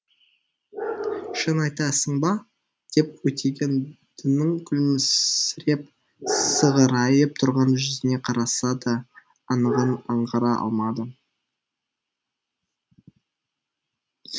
шын айтасың ба деп өтегендінің күлімсіреп сығырайып тұрған жүзіне қараса да анығын аңғара алмады